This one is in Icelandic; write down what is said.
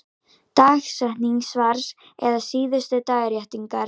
Dagsetning svars eða síðustu dagréttingar.